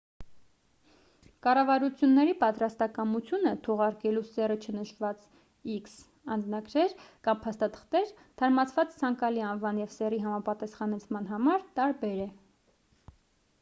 կառավարությունների պատրաստակամությունը՝ թողարկելու սեռը չնշված x անձնագրեր կամ փաստաթղթեր՝ թարմացված ցանկալի անվան և սեռի համապատասխանեցման համար տարբեր է: